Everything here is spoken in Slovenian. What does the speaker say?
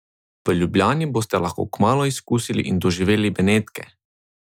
V Ljubljani boste kmalu lahko izkusili in doživeli Benetke!